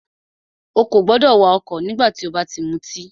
Ó kò gbọdọ̀ wà ọ̀kọ̀ nígbà tí o bá ti mutí!